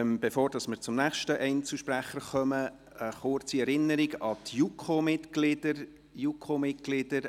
Bevor wir zum nächsten Einzelsprecher kommen, eine kurze Erinnerung zuhanden der JuKo-Mitglieder: